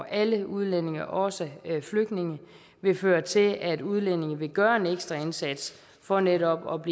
alle udlændinge også flygtninge vil føre til at udlændinge vil gøre en ekstra indsats for netop at